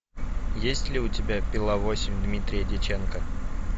есть ли у тебя пила восемь дмитрия дьяченко